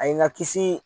A ye n ka kisi